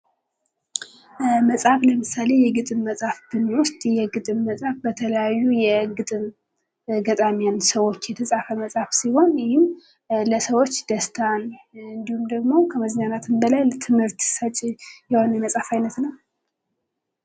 መጽሃፍ ለምሳሌ በተለያዩ የግጥም ጸሃፊወች የተጻፈ መጽሀፍ ሲሆን ይህም ለሰዎች ደስታን ፣ ከመዝናናትም በላይ ትምህርት ሰጭ ነው።